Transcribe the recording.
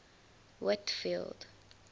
whitfield